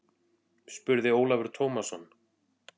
spurði Ólafur Tómasson.